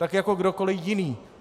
Tak jako kdokoli jiný.